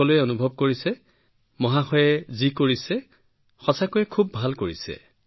সকলোৱে অনুভৱ কৰিছে যে ছাৰে যি কৰিছে তেওঁ খুব ভাল কৰিছে